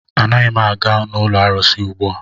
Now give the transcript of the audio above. Anaghị m aga n'ụlọ arụsị ugbua.